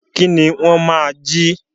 Kí ni wọ́n máa jí?